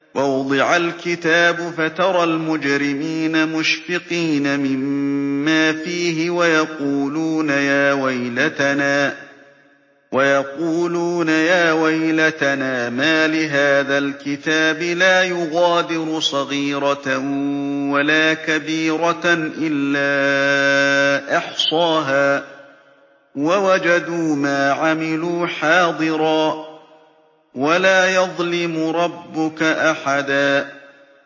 وَوُضِعَ الْكِتَابُ فَتَرَى الْمُجْرِمِينَ مُشْفِقِينَ مِمَّا فِيهِ وَيَقُولُونَ يَا وَيْلَتَنَا مَالِ هَٰذَا الْكِتَابِ لَا يُغَادِرُ صَغِيرَةً وَلَا كَبِيرَةً إِلَّا أَحْصَاهَا ۚ وَوَجَدُوا مَا عَمِلُوا حَاضِرًا ۗ وَلَا يَظْلِمُ رَبُّكَ أَحَدًا